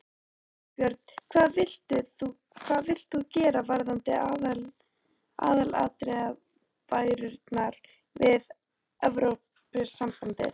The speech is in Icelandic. Þorbjörn: Hvað vilt þú gera varðandi aðildarviðræðurnar við Evrópusambandið?